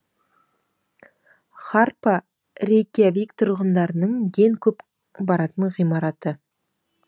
харпа рейкьявик тұрғындарының ең көп баратын ғимараты